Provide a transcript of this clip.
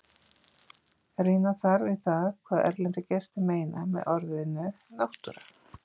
Rýna þarf í það hvað erlendir gestir meina með orðinu náttúra.